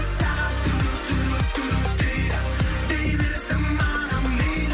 сағат дейді дей берсін маған мейлі